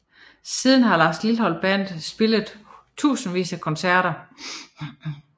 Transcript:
Siden har Lars Lilholt Band spillet tusindvis af koncerter